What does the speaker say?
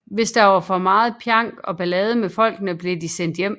Hvis der var for meget pjank og ballade med folkene blev de sendt hjem